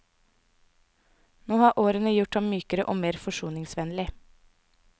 Nå har årene gjort ham mykere og mer forsoningsvennlig.